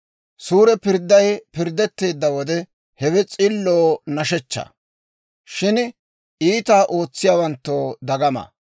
Suure pirdday pirddetteedda wode, hewe s'illoo nashshechchaa; shin iitaa ootsiyaawanttoo dagama.